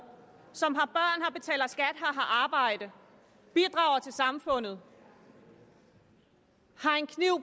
som har arbejde bidrager til samfundet har en kniv